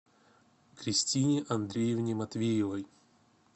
кристине андреевне матвеевой